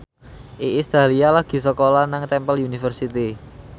Iis Dahlia lagi sekolah nang Temple University